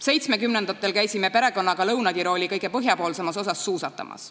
Seitsmekümnendatel käisime perekonnaga Lõuna-Tirooli kõige põhjapoolsemas osas suusatamas.